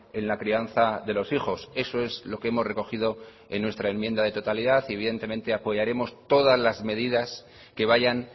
en la crianza de los hijos eso es lo que hemos recogido en nuestra enmienda de totalidad y evidentemente apoyaremos todas las medidas que vayan